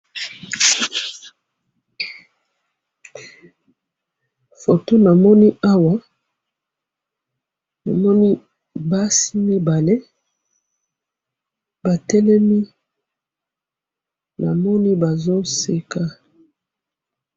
photo namoni awa namoni basi mibale batelemi namoni bazoseka